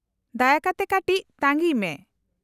-ᱫᱟᱭᱟ ᱠᱟᱛᱮ ᱠᱟᱹᱴᱤᱡ ᱛᱟᱺᱜᱤᱭ ᱢᱮ ᱾